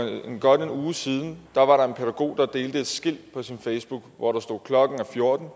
godt en uge siden var der en pædagog der delte et skilt på sin facebook hvor der stod klokken er fjorten